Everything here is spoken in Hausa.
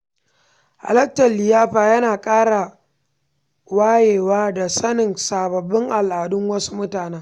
Halartar liyafa yana ƙara wayewa da sanin sababbin al’adun wasu mutane.